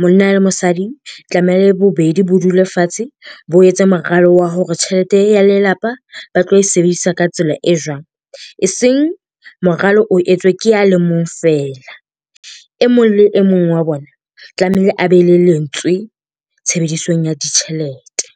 monna le mosadi tlamehile bobedi bo dule fatshe, bo etse moralo wa hore tjhelete ya lelapa ba tlo e sebedisa ka tsela e jwang. Eseng moralo o etswe ke ya le mong feela. E mong le e mong wa bona tlamehile a be le lentswe tshebedisong ya ditjhelete.